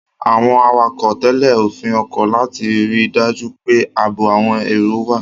Àwọn awakọ̀ ń tẹ̀lé òfin ọkọ̀ láti rí i dájú pé ààbò àwọn èrò wà.